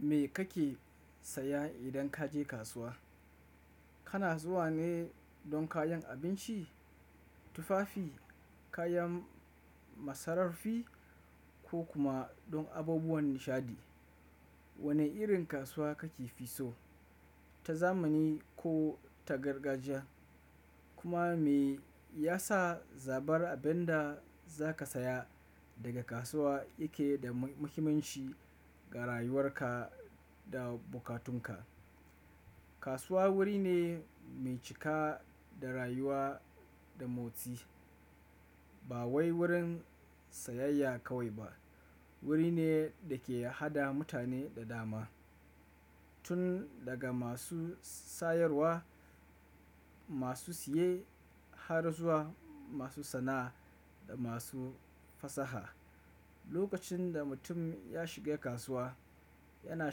Me kake saya idan ka je kasuwa? Kana zuwa ne don kayan abinci, tufafi, kayan masararfi ko kuma don abubuwan nishaɗi. Wane irin kasuwa kake fi so, ta zamani ko ta gargajiya? Kuma me ya sa zabar abin da za ka saya daga kasuwa yake da muhimmanci ga rayuwarka da bukatunka? Kasuwa wuri ne mai cika da rayuwa da motsi. Ba wai wurin sayayya kawai ba, wuri ne da ke haɗa mutane da dama, tun daga masu sayarwa, masu siye har zuwa masu sana'a da masu fasaha. Lokacin da mutum ya shiga kasuwa, yana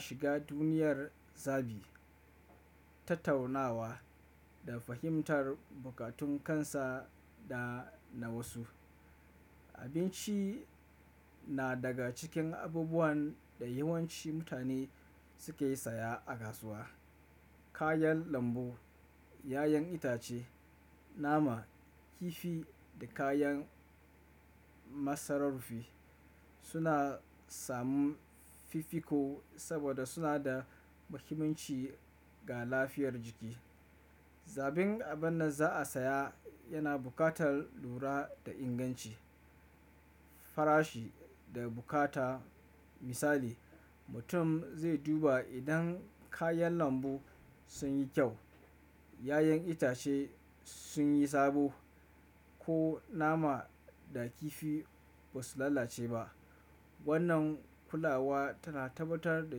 shiga duniyar zabi, tattaunawa da fahimtar bukatun kansa da na wasu. Abinci na daga cikin abubuwan da yawanci mutane suke saya a kasuwa. Kayan lambu, ƴaƴan itace, nama, kifi da kayan masararfi suna samun fifiko saboda suna da muhimmanci ga lafiyar jiki. Zabin abin da za a saya yana buƙatar lura da inganci, farashi da bukata. Misali, mutum zai duba idan kayan lambu sun yi kyau, ƴaƴan itace sun yi sabo ko nama da kifi ba su lalace ba. Wannan kulawa tana tabbatar da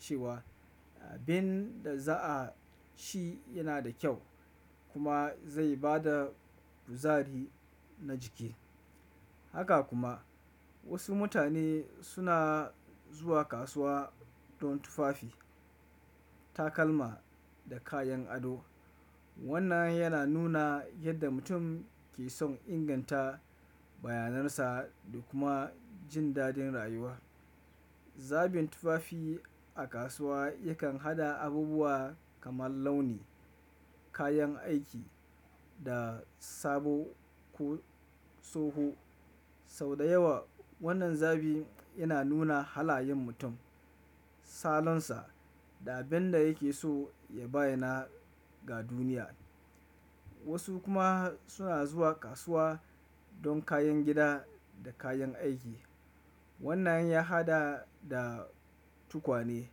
cewa abin da za a ci yana da kyau kuma zai ba da kuzari na jiki. Haka kuma wasu mutane suna zuwa kasuwa don tufafi, takalma da kayan ado. Wannan yana nuna yadda mutum ke son inganta bayanarsa da kuma jin daɗin rayuwa. Zabin tufafi a kasuwa yakan haɗa abubuwa kamar launi, kayan aiki da sabo ko tsoho. Sau da yawa wannan zabi yana nuna halayen mutum, salonsa da abin da yake so ya bayyana ga duniya. Wasu kuma suna zuwa kasuwa don kayan gida da kayan aiki. Wannan ya haɗa da tukwane,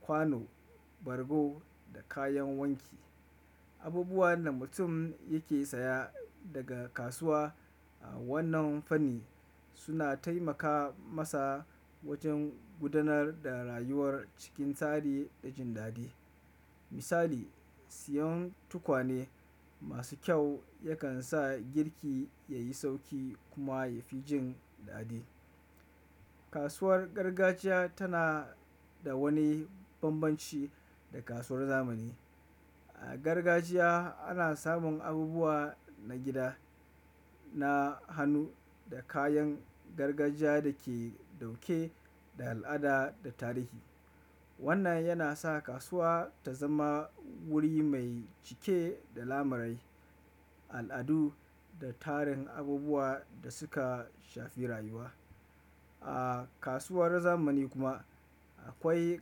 kwano, bargo da kayan wanki. Abubuwan da mutum yake saya daga kasuwa a wannan fanni suna taimaka masa wajen gudanar da rayuwar cikin tsari da jin daɗi. Misali, siyan tukwane masu kyau yakan sa girki yayi sauƙi kuma yafi jin daɗi. Kasuwar gargajiya tana da wani banbanci da kasuwar zamani. A gargajiya ana samun abubuwa na gida, na hannu da kayan gargajiya da ke ɗauke da al'ada da tarihi. Wannan yana sa kasuwa ta zama wuri mai cike da lamari, al'adu da tarin abubuwa da suka shafi rayuwa. A kasuwar zamani kuma akwai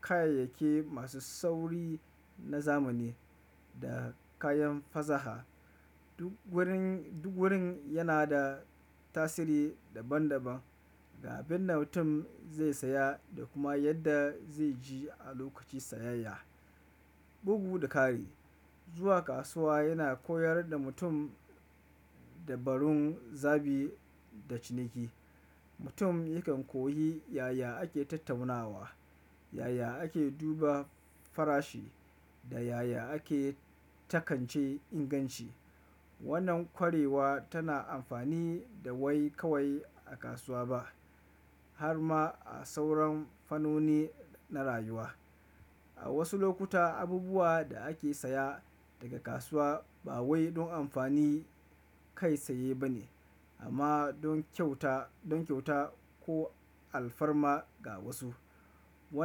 kayayyaki masu sauri na zamani da kayan fasaha. Duk wurin, duk wurin yana da tasiri daban daban ga abin da mutum zai saya da kuma yadda zai ji a lokacin sayayya. Bugu da ƙari, zuwa kasuwa yana koyar da mutum dabarun zabi da ciniki. Mutum yakan koyi yaya ake tattaunawa, yaya ake duba farashi da yaya ake takance inganci. Wannan kwarewa tana amfani da wai kawai a kasuwa ba, har ma a sauran fannoni na rayuwa. A wasu lokuta abubuwa da ake saya daga kasuwa ba wai don amfani kai tsaye ba ne, amma don kyauta, don kyauta ko alfarma ga wasu. Wannan.